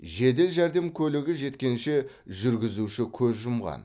жедел жәрдем көлігі жеткенше жүргізуші көз жұмған